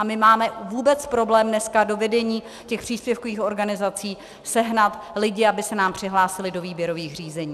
A my máme vůbec problém dneska do vedení těch příspěvkových organizací sehnat lidi, aby se nám přihlásili do výběrových řízení.